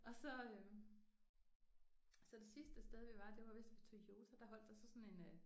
Og så øh så det sidste sted vi var det var vist ved Toyota der holdt der så sådan en øh